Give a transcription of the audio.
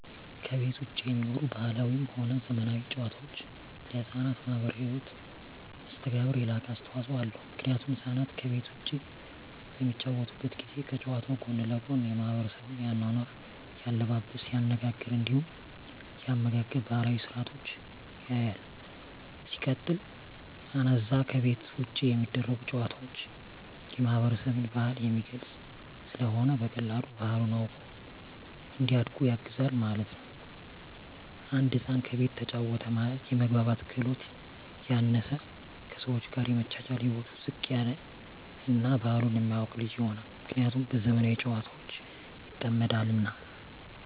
ከቤት ዉጪ የሚኖሩ ባህላዊም ሆነ ዘመናዊ ጨዋታወች ለሕፃናት ማህበራዊ ህይወት መስተጋብር የላቀ አስተዋጾ አለዉ ምክንያቱም ህፃናት ከቤት ዉጪ በሚጫወቱበት ጊዜ ከጨዋታዉ ጎን ለጎን የማሕበረሰቡን የአኗኗር፣ የአለባበስ፤ የአነጋገር እንዲሁም የአመጋገብ ባህላዊ ስርአቶችን ያያል። ሲቀጥል አነዛ ከቤት ዉጪ የሚደረጉ ጨዋታወች የማህበረሰብን ባህል የሚገልጽ ስለሆነ በቀላሉ ባህሉን አዉቆ እንዲያድግ ያግዘዋል ማለት ነዉ። አንድ ህፃን ከቤቱ ተጫወተ ማለት የመግባባት ክህሎቱ ያነሰ፣ ከሰወች ጋር የመቻቻል ህይወቱ ዝቅ ያለ እና ባህሉን የማያቅ ልጅ ይሆናል። ምክንያቱም በዘመናዊ ጨዋታወች ይጠመዳልና።